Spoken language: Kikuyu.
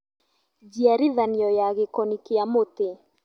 Njiarithanio ya gĩkoni kĩa mũtĩ